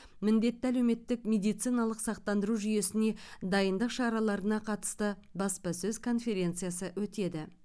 міндетті әлеуметтік медициналық сақтандыру жүйесіне дайындық шараларына қатысты баспасөз конференциясы өтеді